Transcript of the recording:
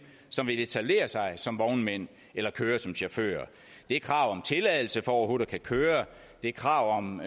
som vil etablere sig som vognmænd eller køre som chauffører det er krav om tilladelse for overhovedet at kunne køre det er krav om